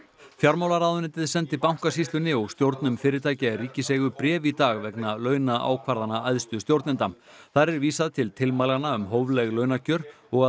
fjármálaráðuneytið sendi Bankasýslunni og stjórnum fyrirtækja í ríkiseigu bréf í dag vegna launaákvarðana æðstu stjórnenda þar er vísað til tilmælanna um hófleg launakjör og